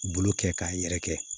Bolo kɛ k'a yɛrɛkɛ